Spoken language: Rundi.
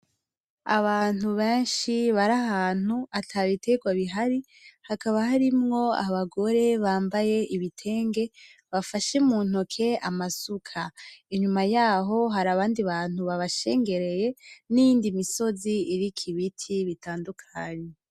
Abantu benshi bari ahantu ata biterwa bihari hakaba harimwo abagore bambaye ibitenge bafashe muntoki amasuka , inyuma yaho harabandi bantu babashegereye n’iyindi misonzi iriko ibiti bitandukanye.